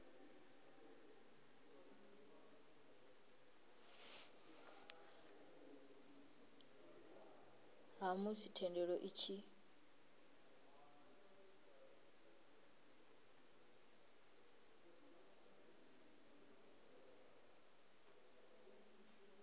ha musi thendelo i tshi